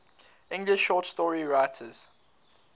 english short story writers